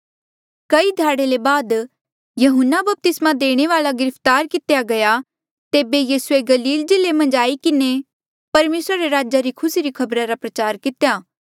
कई ध्याड़े ले बाद यहून्ना बपतिस्मा देणे वाल्आ गिरफ्तार कितेया गया तेबे यीसूए गलील जिल्ले मन्झ आई किन्हें परमेसरा रे राजा री खुसी री खबरा रा प्रचार कितेया